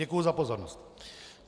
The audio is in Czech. Děkuji za pozornost.